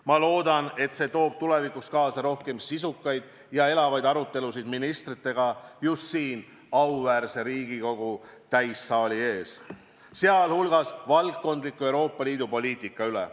Ma loodan, et see toob tulevikus kaasa rohkem sisukaid ja elavaid arutelusid ministritega just siin, auväärse Riigikogu täissaali ees, sh valdkondliku Euroopa Liidu poliitika üle.